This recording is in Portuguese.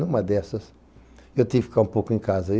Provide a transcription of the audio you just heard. Numa dessas, eu tive que ficar um pouco em casa.